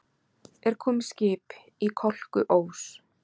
Er komið skip í Kolkuós?